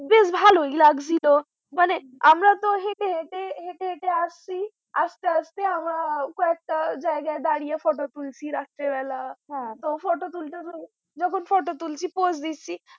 ভালোই লাগছিল, মানে আমরা তো হেঁটে হেঁটে হেঁটে হেঁটে আসছি আসতে আসতে আমরা কয়েকটা জায়গায় দাঁড়িয়ে photo তুলছি রাত্রীবেলা তো photo তুলতে তুলতে যখন photo তুলছি pose দিচ্ছি